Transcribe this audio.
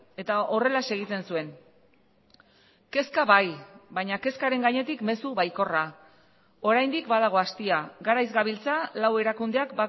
eta horrelaxe egiten zuen kezka bai baina kezkaren gainetik mezu baikorra oraindik badago astia garaiz gabiltza lau erakundeak